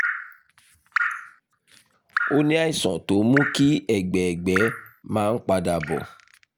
o ní àìsàn tó ń mú kí ẹ̀gbẹ́ ẹ̀gbẹ́ ẹ̀gbẹ́ máa ń padà bọ̀